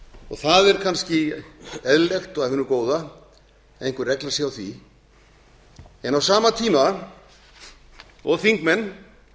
og það er kannski eðlilegt og af hinu góða að einhver regla sé á því en á sama tíma og þingmenn